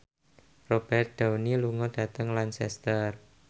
Robert Downey lunga dhateng Lancaster